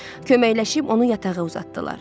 Köməkləşib onu yatağa uzatdılar.